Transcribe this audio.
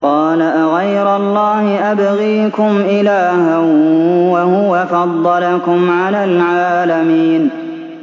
قَالَ أَغَيْرَ اللَّهِ أَبْغِيكُمْ إِلَٰهًا وَهُوَ فَضَّلَكُمْ عَلَى الْعَالَمِينَ